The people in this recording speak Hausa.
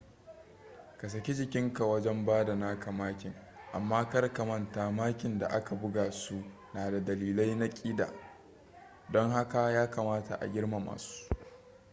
ka saki jikinka wajen bada naka makin amma kar ka manta makin da aka buga su na da dalilai na kida don haka ya kamata a girmama su